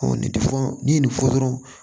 nin tɛ fɔ n'i ye nin fɔ dɔrɔn